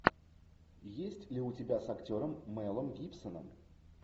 есть ли у тебя с актером мэлом гибсоном